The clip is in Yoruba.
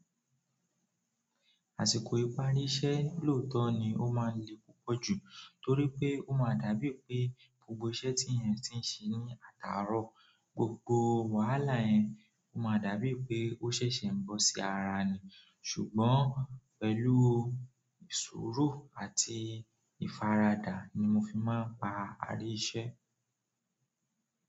Àsìkò ìparí iṣẹ́ lóòótọ́ ni ó máa ń le púpọ̀ jù torí pé ó máa dàbí pé gbogbo iṣẹ́ tí ẹ̀yin ti ń ṣe ní àtàárọ̀, gbogbo wàhálà yẹn ó máa dàbí pé ó ṣẹ̀ṣẹ̀ ń bọ́ sí ara ni. Ṣùgbọ́n pẹ̀lú sùúrù àti ìfaradà nii mo fi maa n parí iṣẹ́.